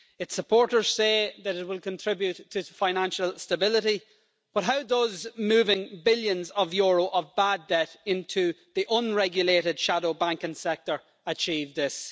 Its supporters say that it will contribute to financial stability, but how does moving billions of euros of bad debt into the unregulated shadow banking sector achieve this?